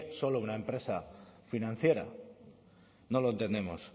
solo una empresa financiera no lo entendemos